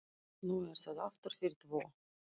Nú er það aftur fyrir tvo.